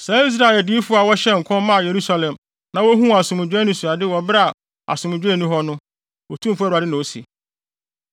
saa Israel adiyifo a wɔhyɛɛ nkɔm maa Yerusalem na wohuu asomdwoe anisoade wɔ bere a asomdwoe nni hɔ no,” Otumfo Awurade na ose.’